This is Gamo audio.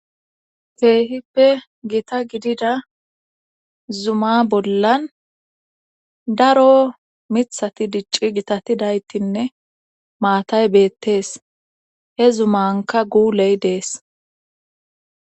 Keehippe gita gidida zuma bollan daro mithati dicci gitatidaytinne maatay beettees he zumanka guuley dees.